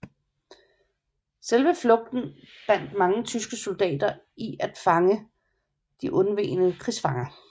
Selve flugten bandt mange tyske soldater i at fange de undvegne krigsfanger